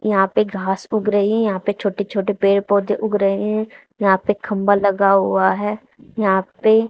यहां पे घास उग रही है यहां पे छोटे छोटे पेड़ पौधे उग रहे हैं यहां पे खंभा लगा हुआ है यहां पे--